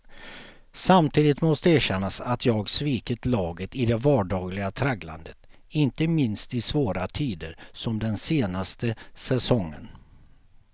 Samtidigt måste erkännas att jag svikit laget i det vardagliga tragglandet, inte minst i svåra tider som den senaste säsongen.